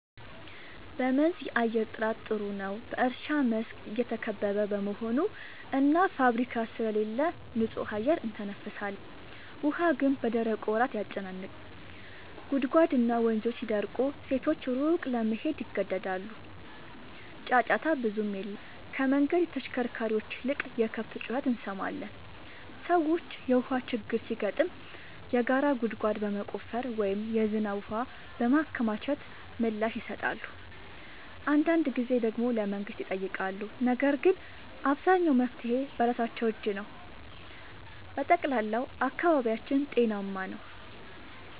በመንዝ የአየር ጥራት ጥሩ ነው፤ በእርሻ መስክ የተከበበ በመሆኑ እና ፋብሪካ ስለሌለ ንጹህ አየር እንተነፍሳለን። ውሃ ግን በደረቁ ወራት ያጨናንቃል፤ ጉድጓድና ወንዞች ሲደርቁ ሴቶች ሩቅ ለመሄድ ይገደዳሉ። ጫጫታ ብዙም የለም፤ ከመንገድ ተሽከርካሪዎች ይልቅ የከብት ጩኸት እንሰማለን። ሰዎች የውሃ ችግር ሲገጥም የጋራ ጉድጓድ በመቆፈር ወይም የዝናብ ውሃ በማከማቸት ምላሽ ይሰጣሉ። አንዳንድ ጊዜ ደግሞ ለመንግሥት ይጠይቃሉ፤ ነገር ግን አብዛኛው መፍትሔ በራሳቸው እጅ ነው። በጠቅላላው አካባቢያችን ጤናማ ነው።